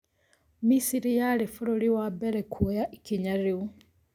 Misiri yarĩ bũrũri wa mbere kwoya ikinya rĩu